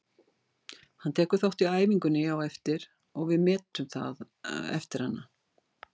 Hann tekur þátt í æfingunni á eftir og við metum það eftir hana.